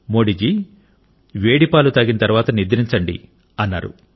మోడీ జీ వేడి పాలు తాగిన తరువాత నిద్రించండి అన్నారు